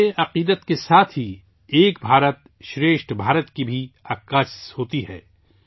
یہ عقیدے کے ساتھ ہی 'ایک بھارت شریسٹھ بھارت' کا بھی عکاس ہوتی ہے